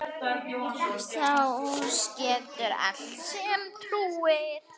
Sá getur allt sem trúir.